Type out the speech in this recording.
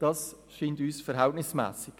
Dies finden wir verhältnismässig.